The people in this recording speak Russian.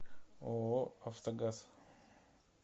ооо автогаз